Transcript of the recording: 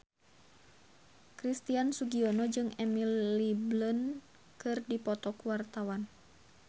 Christian Sugiono jeung Emily Blunt keur dipoto ku wartawan